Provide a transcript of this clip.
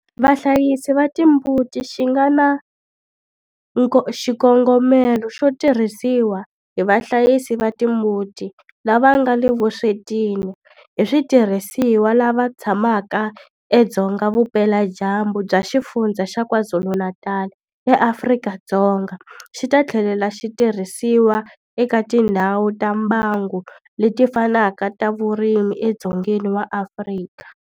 Vahlayisi va timbuti xi nga na xikongomelo xo tirhisiwa hi vahlayisi va timbuti lava nga le vuswetini hi switirhisiwa lava tshamaka edzonga vupeladyambu bya Xifundzha xa KwaZulu-Natal eAfrika-Dzonga, xi ta tlhela xi tirhisiwa eka tindhawu ta mbango leti fanaka ta vurimi edzongeni wa Afrika.